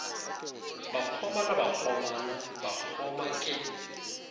bakgoma le bakgomana bakgoma ke